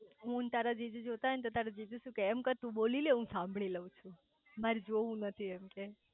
હું અન તારા જીજુ જોતા હોય ને તો તારા જીજુ શું કે એમ કર તુ બોલી લે હું સાંભળી લવ છું માર જોવું નથી